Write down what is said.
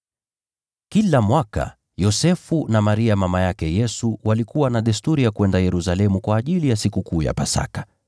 Kila mwaka Yosefu na Maria mama yake Yesu walikuwa na desturi ya kwenda Yerusalemu kwa ajili ya Sikukuu ya Pasaka.